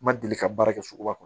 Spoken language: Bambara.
N ma deli ka baara kɛ suguba kɔnɔ